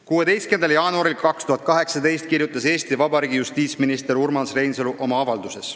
16. jaanuaril 2018 kirjutas Eesti Vabariigi justiitsminister Urmas Reinsalu oma avalduses: "...